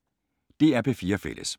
DR P4 Fælles